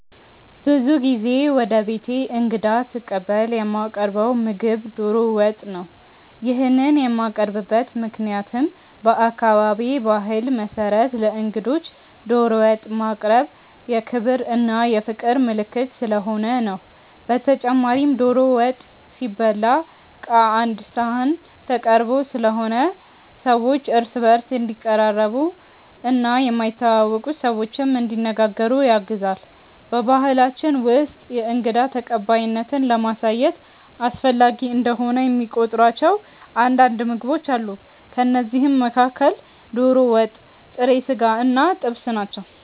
ብዙ ጊዜ ወደ ቤቴ እንግዳ ስቀበል የማቀርው ምግብ ዶሮ ወጥ ነው። ይሄንን የማቀርብበት ምክንያትም በአካባቢዬ ባህል መሰረት ለእንግዶች ዶሮ ወጥ ማቅረብ የክብር እና የፍቅር ምልክት ስለሆነ ነው። በተጨማሪም ዶሮ ወጥ ሲበላ ቀአንድ ሰሀን ተቀርቦ ስለሆነ ሰዎች እርስ በእርስ እንዲቀራረቡ እና የማይተዋወቁ ሰዎችንም እንዲነጋገሩ ያግዛል። በባሕላችን ውስጥ የእንግዳ ተቀባይነትን ለማሳየት አስፈላጊ እንደሆነ የሚቆጥሯቸው አንዳንድ ምግቦች አሉ። ከእነዚህም መካከል ዶሮ ወጥ፣ ጥሬ ስጋ እና ጥብስ ናቸው።